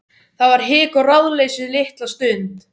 Það var hik og ráðleysi litla stund.